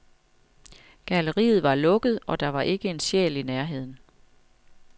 Galleriet var lukket, og der var ikke en sjæl i nærheden.